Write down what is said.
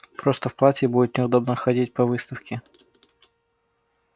просто в платье будет неудобно ходить по выставке